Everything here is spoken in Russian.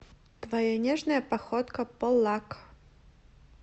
твоя нежная походка полак